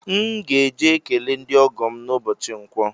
M ga-eje ekele ndị ọgọ m n’ụbọchi nkwọ